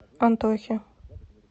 антохи